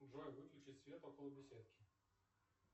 джой выключи свет около беседки